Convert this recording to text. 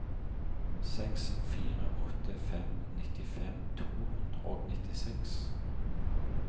seks fire åtte fem nittifem to hundre og nittiseks